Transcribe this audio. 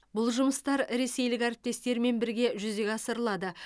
бұл жұмыстар ресейлік әріптестермен бірге жүзеге асырылады